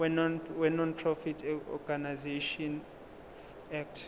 wenonprofit organisations act